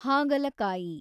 ಹಾಗಲಕಾಯಿ